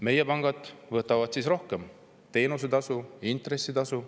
Meie pangad võtavad seega rohkem teenustasu, intressitasu.